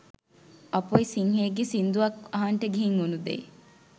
අපොයි සිංහයෙක්ගේ සින්දුවක් අහන්ට ගිහින් උනු දේ